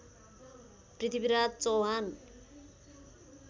Prithviraj Chauhan